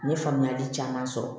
N ye faamuyali caman sɔrɔ